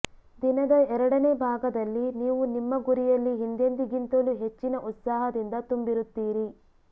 ದಿನದ ಎರಡನೇ ಭಾಗದಲ್ಲಿ ನೀವು ನಿಮ್ಮ ಗುರಿಯಲ್ಲಿ ಹಿಂದೆಂದಿಗಿಂತಲೂ ಹೆಚ್ಚಿನ ಉತ್ಸಾಹದಿಂದ ತುಂಬಿರುತ್ತೀರಿ